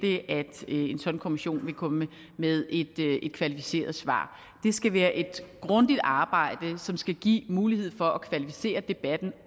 en sådan kommission vil komme med et kvalificeret svar det skal være et grundigt arbejde som skal give mulighed for at kvalificere debatten